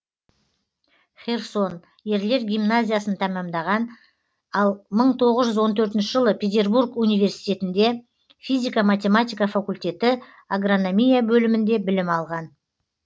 херсон ерлер гимназиясын тәмамдаған ал мың тоғыз жүз он төртінші жылы петербург университетінде физика математика факультеті агрономия бөлімінде білім алған